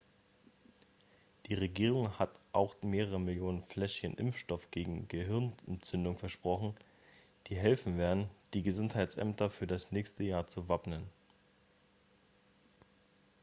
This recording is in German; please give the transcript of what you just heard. die regierung hat auch mehrere millionen fläschchen impfstoff gegen gehirnentzündung versprochen die helfen werden die gesundheitsämter für das nächste jahr zu wappnen